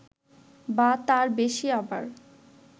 বা তার বেশি আবার